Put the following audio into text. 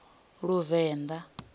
luvenḓa